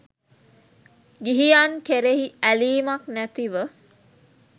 ගිහියන් කෙරෙහි ඇලීමක් නැතිව